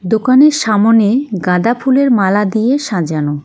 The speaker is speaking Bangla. দোকানের সামোনে গাঁদা ফুলের মালা দিয়ে সাজানো.